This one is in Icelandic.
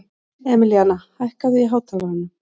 Emilíana, hækkaðu í hátalaranum.